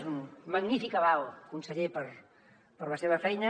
és un magnífic aval conseller per la seva feina